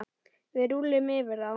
Við rúllum yfir þá!